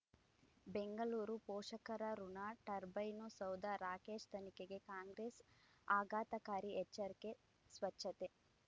ಬೆಂಗಳೂರು ಪೋಷಕರಋಣ ಟರ್ಬೈನು ಸೌಧ ರಾಕೇಶ್ ತನಿಖೆಗೆ ಕಾಂಗ್ರೆಸ್ ಆಘಾತಕಾರಿ ಎಚ್ಚರಿಕೆ ಸ್ವಚ್ಛತೆ